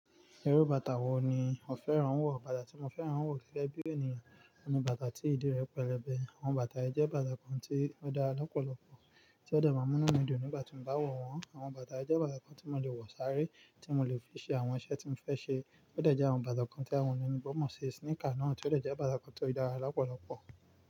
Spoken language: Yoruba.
Irú bàtà wo ni o fẹ́ràn wọ̀? Bàtà tí mo fẹ́ràn wọ̀ gégébí ènìyàn, ọ̀ní bàtà tí ìdí rẹ̀ pẹlẹbẹ. Àwọn bàtà ẹ jẹ́ bàtà kan tí ó dára lọ́pọ̀lọpọ̀ tí ó de máa múnú mí dùn nígbà tí mo bá wọ̀ wọ́n. Àwọn bàtà ẹ jẹ́ bàtà kan tí mo lè wọ̀ sáré, tí mo lè fi ṣe àwọn iṣẹ́ tí mo fẹ́ ṣe. Ó de je àwọn bàtà kan tí àwọn oloyinbo mọ̀ ṣu sneaker náà tí ó deje bàtà kan tó dára lọ́pọ̀lọpọ̀.